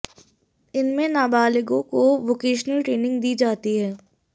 इनमें नाबालिगो को वोकेशनल ट्रेनिंग दी जाती है